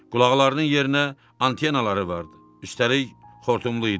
Qulaqlarının yerinə antenaları vardı, üstəlik xortumlu idi.